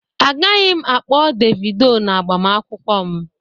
Agaghị m akpọ Devido n'agbamakwụkwọ m